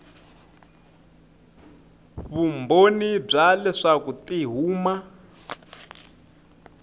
vumbhoni bya leswaku ti huma